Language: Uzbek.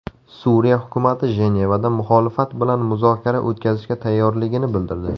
Suriya hukumati Jenevada muxolifat bilan muzokara o‘tkazishga tayyorligini bildirdi.